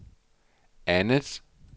andet